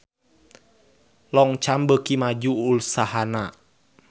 Longchamp beuki maju usahana